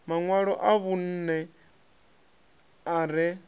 maṋwalo a vhunṋe a re